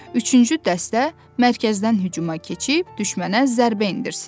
Üçüncü dəstə mərkəzdən hücuma keçib düşmənə zərbə endirsin.